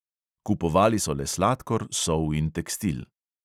Kupovali so le sladkor, sol in tekstil.